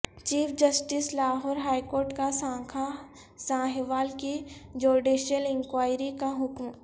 chief justice Lahore high court کا سانحہ ساہیوال کی جوڈیشل انکوائری کا حکم